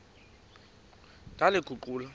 ndaliguqula